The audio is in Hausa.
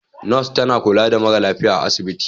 Nurse tana kula da mara lafiya a asibiti.